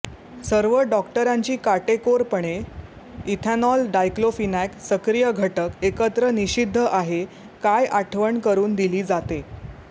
सर्व डॉक्टरांची काटेकोरपणे इथेनॉल डायक्लोफिनेक सक्रिय घटक एकत्र निषिद्ध आहे काय आठवण करून दिली जाते